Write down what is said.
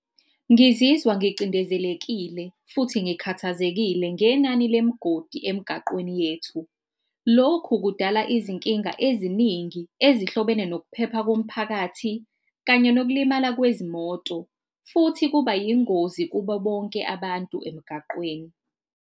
Ngizizwa ngicindezelekile futhi ngikhathazekile ngenani lemigodi emgaqweni yethu. Lokhu kudala izinkinga eziningi ezihlobene nokuphepha komphakathi kanye nokulimala kwezimoto, futhi kuba yingozi kubo bonke abantu emgaqweni.